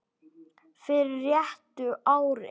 fyrir réttu ári.